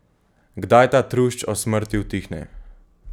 Kdaj ta trušč o smrti utihne?